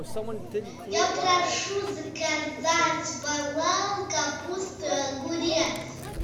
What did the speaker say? я прошу заказать балал капуста огурец